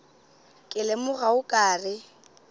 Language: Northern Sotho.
ke lemoga o ka re